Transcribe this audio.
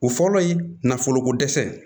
O fɔlɔ ye nafoloko dɛsɛ ye